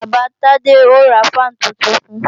Bàbá Tade ó ra fáànù tuntun fun